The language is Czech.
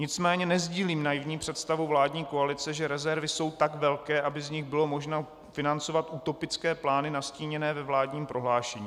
Nicméně nesdílím naivní představu vládní koalice, že rezervy jsou tak velké, aby z nich bylo možno financovat utopické plány nastíněné ve vládním prohlášení.